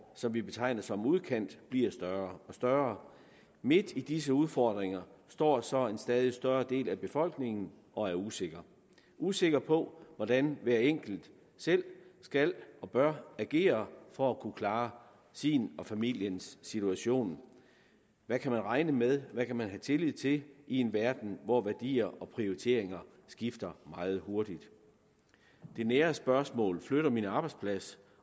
som vi betegner som udkant bliver større og større midt i disse udfordringer står så en stadig større del af befolkningen og er usikker usikker på hvordan hver enkelt selv skal og bør agere for at kunne klare sin og familiens situation hvad kan man regne med hvad kan man have tillid til i en verden hvor værdier og prioriteringer skifter meget hurtigt de nære spørgsmål flytter min arbejdsplads